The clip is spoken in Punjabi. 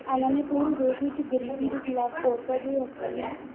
ਇਹਨਾਂ ਨੇ ਪੂਰੇ ਦੇਸ ਵਿੱਚ ਗ਼ਰੀਬੀ ਦੇ ਖਿਲਾਫ਼ ਔਰਤਾਂ ਦੇ ਹੱਕਾਂ ਲਈ।